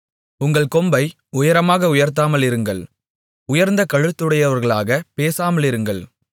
உங்கள் கொம்பை உயரமாக உயர்த்தாமலிருங்கள் உயர்ந்த கழுத்துடையவர்களாகப் பேசாமலிருங்கள்